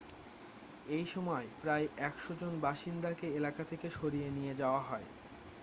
এই সময় প্রায় 100 জন বাসিন্দাকে এলাকা থেকে সরিয়ে নিয়ে যাওয়া হয়